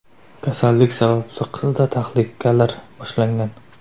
Kasallik sababli qizda tahlikalar boshlangan.